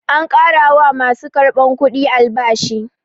An ƙara wa ma su karɓar kudi albashi.